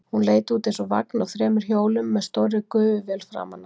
Hún leit út eins og vagn á þremur hjólum með stórri gufuvél framan á.